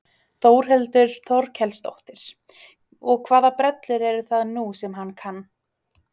Þórhildur Þorkelsdóttir: Og hvaða brellur eru það nú sem hann kann?